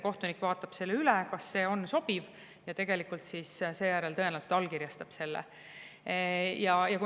Kohtunik vaatab selle üle, kas see on sobiv, ja seejärel tõenäoliselt allkirjastab selle.